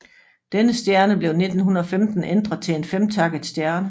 Denne stjerne blev i 1915 ændret til en femtakket stjerne